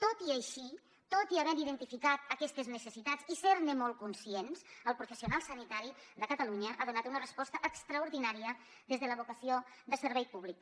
tot i així tot i haver identificat aquestes necessitats i ser ne molt conscients el professional sanitari de catalunya ha donat una resposta extraordinària des de la vocació de servei públic